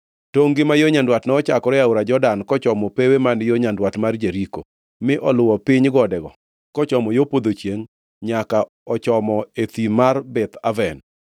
Tongʼ-gi ma yo nyandwat nochakore e aora Jordan, kochomo pewe man yo nyandwat mar Jeriko, mi oluwo piny godego kochomo yo podho chiengʼ nyaka ochomo e thim mar Beth Aven.